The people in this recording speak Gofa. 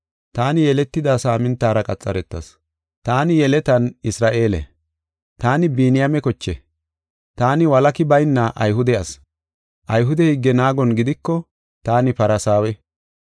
Taani yeletida saamintara qaxaretas. Taani yeletan Isra7eele; taani Biniyaame koche; taani walaki bayna Ayhude ase. Ayhude higge naagon gidiko taani Farsaawe.